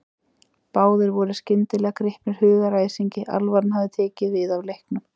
Báðir voru skyndilega gripnir hugaræsingi, alvaran hafði tekið við af leiknum.